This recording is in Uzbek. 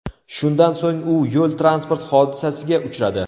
Shundan so‘ng u yo‘l-transport hodisasiga uchradi.